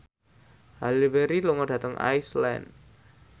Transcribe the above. Halle Berry lunga dhateng Iceland